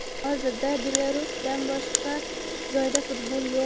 Hozirda Belarusdan boshqa joyda futbol yo‘q.